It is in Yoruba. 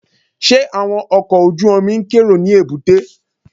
Ṣé àwọn ọkọ̀ ojú-omi ń kérò ní èbúté?